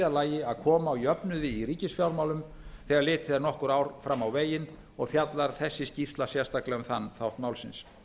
lagi að koma á jöfnuði í ríkisfjármálum þegar litið er nokkur ár fram á veginn og fjallar þessi skýrsla sérstaklega um þann þátt málsins